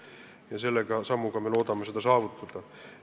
Ja selle sammuga me loodame seda saavutada.